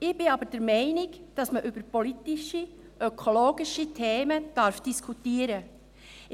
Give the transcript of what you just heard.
Ich bin aber der Meinung, dass man über politische ökologische Themen diskutieren darf.